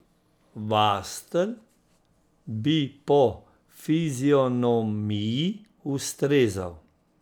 Vastl bi po fizionomiji ustrezal.